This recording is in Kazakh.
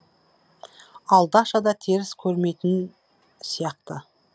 ал даша да теріс көрмейтін сияқты